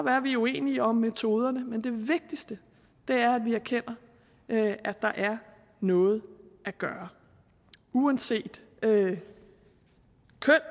at vi uenige om metoderne men det vigtigste er at vi erkender at der er noget at gøre uanset køn